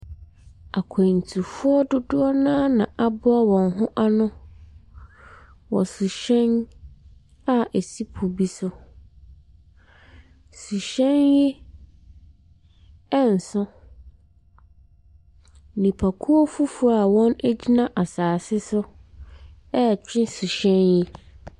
Akwantufoɔ dodoɔ naa na aboa wɔn ho ano wɔ suhyɛn a esi po bi so. Suhyɛn yi ɛnnso. Nnipakuo foforɔ a ɔgyina asaase so ɛretwe suhyɛn yi.